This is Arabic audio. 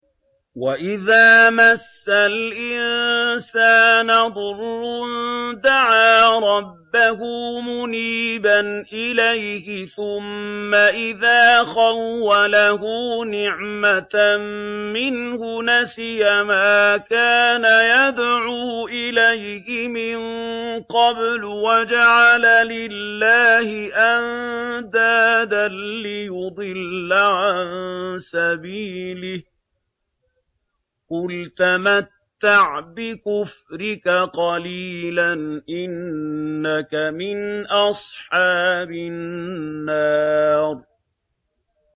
۞ وَإِذَا مَسَّ الْإِنسَانَ ضُرٌّ دَعَا رَبَّهُ مُنِيبًا إِلَيْهِ ثُمَّ إِذَا خَوَّلَهُ نِعْمَةً مِّنْهُ نَسِيَ مَا كَانَ يَدْعُو إِلَيْهِ مِن قَبْلُ وَجَعَلَ لِلَّهِ أَندَادًا لِّيُضِلَّ عَن سَبِيلِهِ ۚ قُلْ تَمَتَّعْ بِكُفْرِكَ قَلِيلًا ۖ إِنَّكَ مِنْ أَصْحَابِ النَّارِ